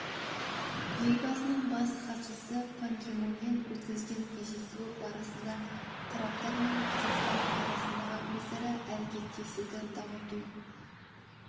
елбасының бас хатшысы пан ги мунмен өткізген кездесуі барысында тараптар мен қазақстан арасындағы өзара әрекеттесуді дамыту